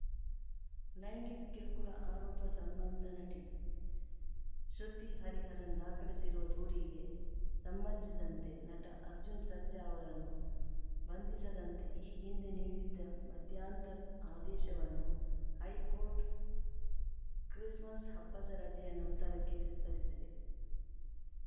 ಲೈಂಗಿಕ ಕಿರುಕುಳ ಆರೋಪ ಸಂಬಂಧ ನಟಿ ಶೃತಿ ಹರಿಹರನ್‌ ದಾಖಲಿಸಿರುವ ದೂರಿಗೆ ಸಂಬಂಧಿಸಿದಂತೆ ನಟ ಅರ್ಜುನ್‌ ಸರ್ಜಾ ಅವರನ್ನು ಬಂಧಿಸದಂತೆ ಈ ಹಿಂದೆ ನೀಡಿದ್ದ ಮಧ್ಯಂತರ ಆದೇಶವನ್ನು ಹೈಕೋರ್ಟ್‌ ಕ್ರಿಸ್ ಮಸ್‌ ಹಬ್ಬದ ರಜೆಯ ನಂತರಕ್ಕೆ ವಿಸ್ತರಿಸಿದೆ